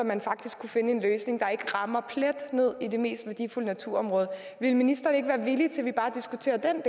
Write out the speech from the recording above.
man faktisk kunne finde en løsning der ikke rammer plet ned i det mest værdifulde naturområde ville ministeren ikke være villig til at vi bare diskuterer den